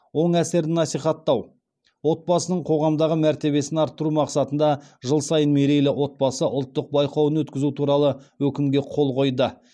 оң әсерін насихаттау отбасының қоғамдағы мәртебесін арттыру мақсатында жыл сайын мерейлі отбасы ұлттық байқауын өткізу туралы өкімге қол қойды